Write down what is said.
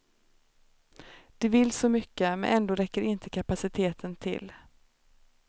De vill så mycket, men ändå räcker inte kapaciteten till.